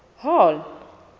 hall